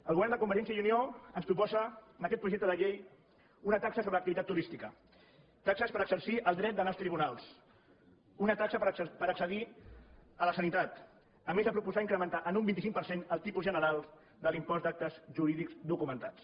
el govern de convergència i unió ens proposa en aquest projecte de llei una taxa sobre l’activitat turística taxes per exercir el dret d’anar als tribunals una taxa per accedir a la sanitat a més de proposar incrementar en un vint cinc per cent el tipus general de l’impost d’actes jurídics documentats